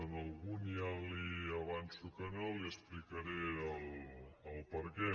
en alguns ja li avanço que no li explicaré el perquè